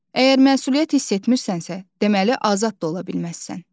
Əgər məsuliyyət hiss etmirsənsə, deməli azad da ola bilməzsən.